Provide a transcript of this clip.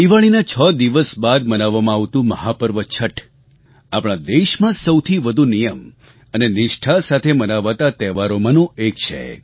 દિવાળીના છ દિવસ બાદ મનાવવામાં આવતું મહાપર્વ છઠ આપણા દેશમાં સૌથી વધુ નિયમ અને નિષ્ઠા સાથે મનાવાતા તહેવારોમાંનું એક છે